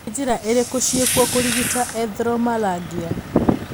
Nĩ njĩra irĩkũ ciĩkuo kũrigita erythromelalgia?